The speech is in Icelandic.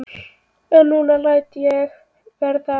En nú læt ég verða af því.